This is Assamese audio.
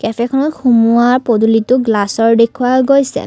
কেফেখনত সুমুওৱা পদুলিতো গ্লাচৰ দেখুওৱা গৈছে।